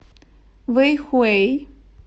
вэйхуэй